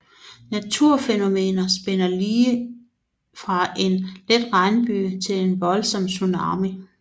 Naturfænomener spænder lige fra en let regnbyge til en voldsom tsunami